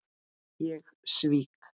Ég svík